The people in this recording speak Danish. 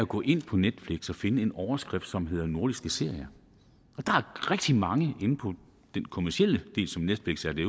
gå ind på netflix og finde en overskrift som hedder nordiske serier og der er rigtig mange inde på den kommercielle del som netflix er det